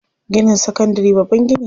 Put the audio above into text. Ginin sakandari babban gini ne.